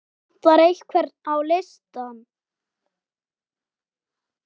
Vantar einhvern á listann?